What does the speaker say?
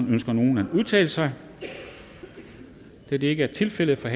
ønsker nogen at udtale sig da det ikke er tilfældet er